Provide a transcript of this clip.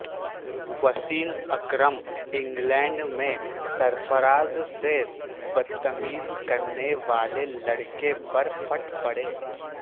Wasim Akram England میں سرفراز سے بد تمیزی کرنے والے لڑکے پر پھٹ پڑے